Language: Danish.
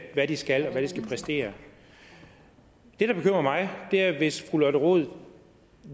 hvad de skal og hvad de skal præstere det der bekymrer mig er hvis fru lotte rod